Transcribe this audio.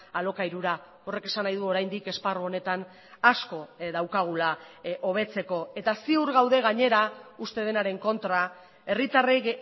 alokairura horrek esan nahi du oraindik esparru honetan asko daukagula hobetzeko eta ziur gaude gainera uste denaren kontra herritarrek